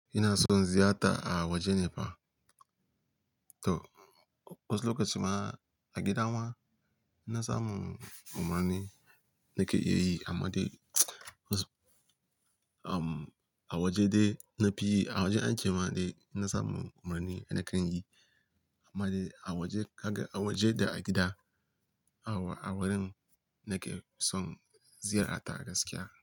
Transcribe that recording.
Ina son ziyata a waje ne fa. To wasu lokaci ma a gida ma inna samu umarni nake iya yi amma dai was-- um, a waje dai na fi yi, a waje ance ma dai inna samu umarni nakan yi. Amma dai a waje ka ga a waje da a gida, a wurin nake son ziyarta gaskiya.